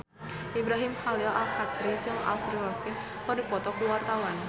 Ibrahim Khalil Alkatiri jeung Avril Lavigne keur dipoto ku wartawan